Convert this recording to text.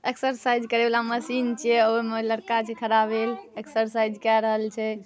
Exercise करे वाला machine छिये। ओमे लड़का छै खड़ा भेल एक्सर्साइज़ केय रहल छै।